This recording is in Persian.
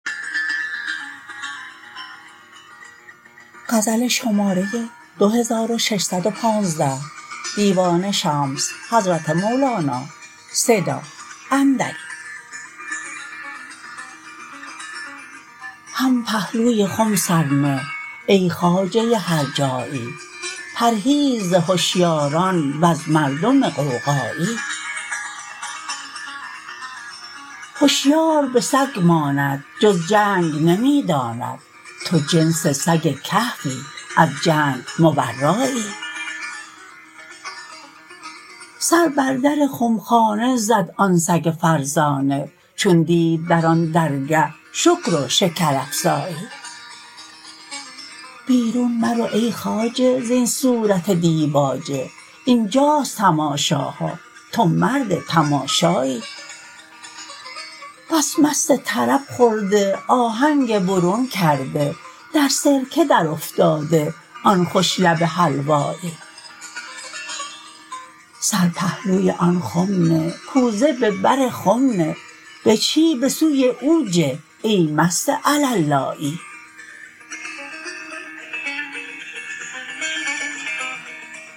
هم پهلوی خم سر نه ای خواجه هرجایی پرهیز ز هشیاران وز مردم غوغایی هشیار به سگ ماند جز جنگ نمی داند تو جنس سگ کهفی از جنگ مبرایی سر بر در خمخانه زد آن سگ فرزانه چون دید در آن درگه شکر و شکرافزایی بیرون مرو ای خواجه زین صورت دیباچه این جاست تماشاها تو مرد تماشایی بس مست طرب خورده آهنگ برون کرده در سرکه درافتاده آن خوش لب حلوایی سر پهلوی آن خم نه کوزه به بر خم به بجهی به سوی او جه ای مست علالایی